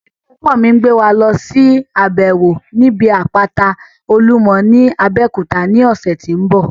Ilé ẹ̀kọ́ mi ń gbé wa lọsí àbẹ̀wò níbi àpáta olúmọ ní Abeokuta ní ọ̀sẹ̀ tó ń bọ̀